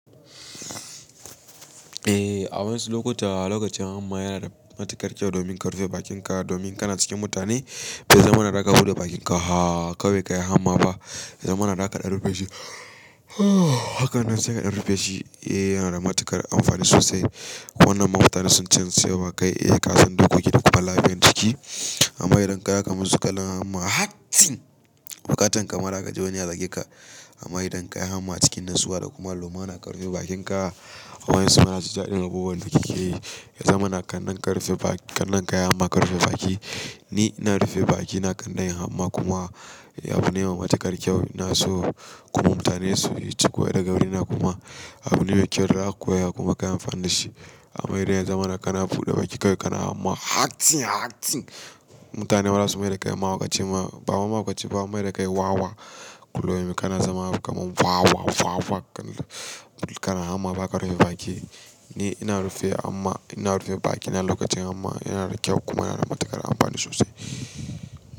Eh, a wani lokuta lokacin hamma yana da matuƙar kyau domin ka rufe bakinka domin kana cikin mutane. Bai zama na da ka buɗe bakinka ba haaa kawai kayi hamma ba. Zama na da kaɗa rufe shi. Haka nan sai kaɗa rufe shi. Eh, yana da matuƙar amfani sosai. Wannan mafatan sun canza yawa kai. Eh, kasan dkoki da kuma lafiyan jiki. Amma idan ka yi haka mu su kana hamma hatsi, bukatan ka ma za ka ji wani ya zage ka. Amma idan ka yi hamma a cikin natsuwa da kuma lumana ka rufe bakin ka. A wani suna jinjadin abubuwan da kike yi. Ya zama na kannan ka yi hamma ka rufe baki. Ni ina rufe baki na ƙan nayi hamma kuma abu ne mai matuƙar kyau. Ina so kuma mutane su yi ciku da ga wurina kuma abune mai kyau da za ka koya kuma ka yi amfani da shi. Amma idan ya zamana ka na buɗe baki kawai kana ma hatsi hatsi, mutane bazasu mai da kai mahaukaci ba. Bawai mahaukaci ba an mai da kai wawa. Kullum kana zama kaman wawa wawa, wawa hakan nan. Kana hamma ba ka rufe baki. Ni ina rufe baki na lokacin hamma yana da kyau kuma yana da matuƙar amfani sosai.